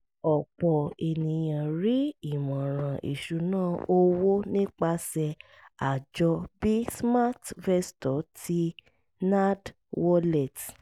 ọ̀pọ̀ ènìyàn rí ìmọ̀ràn ìṣúnná owó nípasẹ̀ àjọ bí smartvestor ti nerdwallet